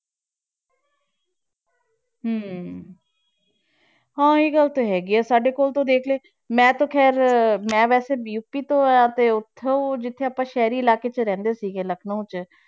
ਹਮ ਹਾਂ ਇਹ ਗੱਲ ਤਾਂ ਹੈਗੀ ਹੈ, ਸਾਡੇ ਕੋਲ ਤੂੰ ਦੇਖ ਲੈ ਮੈਂ ਤਾਂ ਖੈਰ ਮੈਂ ਵੈਸੇ ਯੂਪੀ ਤੋਂ ਹਾਂ ਤੇ ਉੱਥੇ ਜਿੱਥੇ ਆਪਾਂ ਸ਼ਹਿਰੀ ਇਲਾਕੇ 'ਚ ਰਹਿੰਦੇ ਸੀਗੇ ਲਖਨਊਂ 'ਚ,